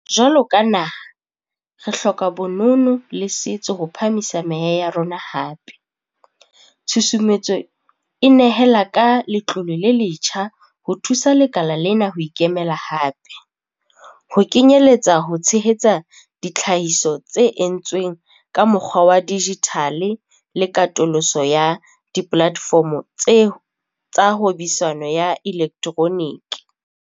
Jwalo ka naha, re hloka bonono le setso ho phahamisa meya ya rona hape - tshusumetso e nehela ka letlole le letjha ho thusa lekala lena ho ikemela hape, ho kenyeletsa ho tshehetsa ditlhahiso tse entsweng ka mokgwa wa dijithale le katoloso ya dipolatefomo tsa hwebisano ya elektroniki.